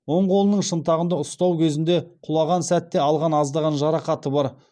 оң қолының шынтағында ұстау кезінде құлаған сәтте алған аздаған жарақаты бар